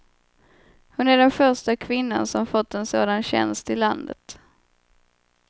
Hon är den första kvinnan som fått en sådan tjänst i landet.